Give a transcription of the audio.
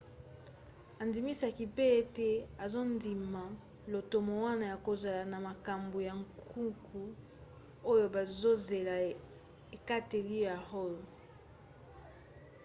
andimisaki mpe ete azondima lotomo wana ya kozala na makambo ya nkuku oyo bazozela ekateli ya roe